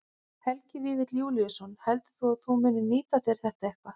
Helgi Vífill Júlíusson: Heldurðu að þú munir nýta þér þetta eitthvað?